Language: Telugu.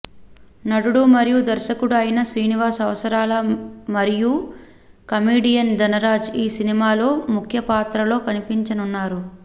నటుడు మరియు దర్శకుడు అయిన శ్రీనివాస్ అవసరాల మరియు కమిడియన్ ధనరాజ్ ఈ సినిమాలో ముఖ్య పాత్రలో కనిపించనున్నారు